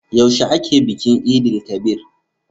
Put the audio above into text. Yaushe ake bikin Eid-el-kabir?